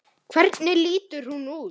Hvernig lítur hún út?